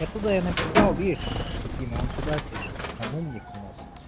я туда написал идишь регина он сюда пишет он умник у нас